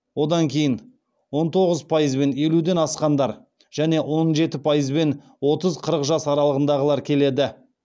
одан кейін он тоғыз пайызбен елуден асқандар және он жеті пайызбен отыз қырықрп жас аралығындағылар келеді